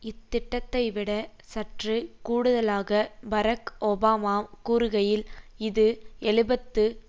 இத்திட்டத்தைவிட சற்று கூடுதலாக Barack Obama கூறுகையில் இது எழுபத்து